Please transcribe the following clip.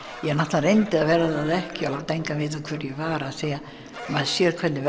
ég reyndi að verða það ekki og láta engan vita hver ég var því maður sér hvernig